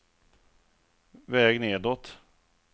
väg nedåt